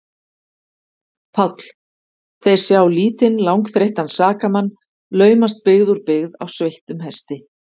PÁLL: Þeir sjá lítinn, langþreyttan sakamann laumast byggð úr byggð á sveittum hesti.